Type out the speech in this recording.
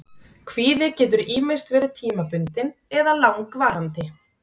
Kvíði getur ýmist verið tímabundinn eða langvarandi.